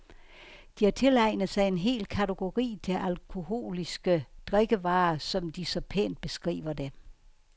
De har tilegnet en hel kategori til alkoholiske drikkevarer, som de så pænt beskriver det.